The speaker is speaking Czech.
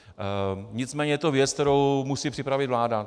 Nicméně je to věc, kterou musí připravit vláda.